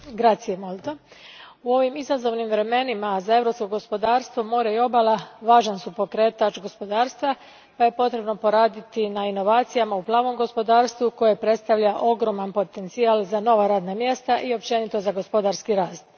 Gospodine predsjedniče, u ovim izazovnim vremenima za europsko gospodarstvo, more i obala važan su pokretač gospodarstva, pa je potrebno poraditi na inovacijama u plavom gospodarstvu koje predstavlja ogroman potencijal za nova radna mjesta i općenito za gospodarski rast.